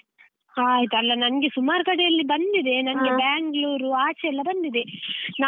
ಹಾ ಆಯ್ತು. ಅಲ್ಲ ನಂಗೆ ಸುಮಾರು ಕಡೆಯಲ್ಲಿ ಬಂದಿದೆ, ನಂಗೆ Bangalore ಆಚೆ ಎಲ್ಲ ಬಂದಿದೆ.